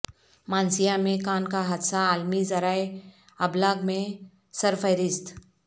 Manisa میں کان کا حادثہ عالمی ذرائع ابلاغ میں سرفہرست